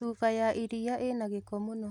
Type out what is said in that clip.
Cuba ya iria ĩna gĩko mũno